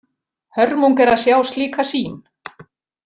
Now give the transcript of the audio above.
Hörmung er að sjá slíka sýn.